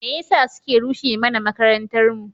Me yasa suke rushe mana makarantarmu?